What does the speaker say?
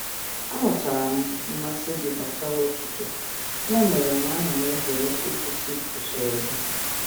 Aghọtara m mmasị gị gbasara ụtụtụ, ya mere na ana m ezere ịkwụsị usoro gị.